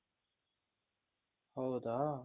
ಹೌದಾ